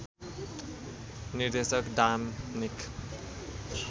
निर्देशक डामनिक